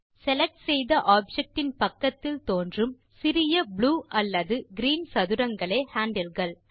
select செய்த object இன் பக்கத்தில் தோன்றும் சிறிய ப்ளூ அல்லது கிரீன் சதுரங்களே ஹேண்டில் கள்